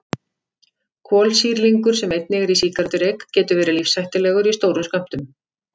Kolsýrlingur sem einnig er í sígarettureyk getur verið lífshættulegur í stórum skömmtum.